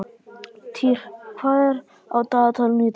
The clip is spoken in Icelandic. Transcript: Týr, hvað er á dagatalinu í dag?